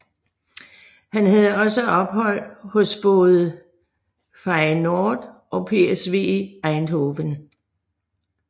Han havde også ophold hos både Feyenoord og PSV Eindhoven